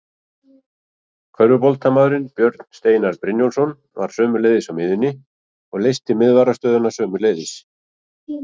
Körfuboltamaðurinn Björn Steinar Brynjólfsson var sömuleiðis á miðjunni og leysti miðvarðarstöðuna sömuleiðis.